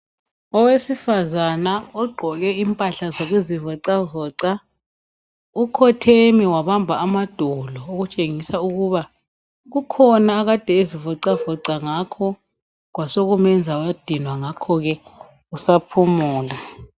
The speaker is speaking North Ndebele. Owesifazana ogqoke impahla zokuzivoxavoxa, ukhotheme wabamba amadolo okutshengis' ukubana kukhona akade eezivoxavoxa ngakho kwasokumenza wadinwa, ngakhoke usaphumula.